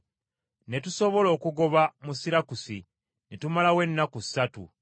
Ne tusooka okugoba mu Sirakusi, ne tumalawo ennaku ssatu.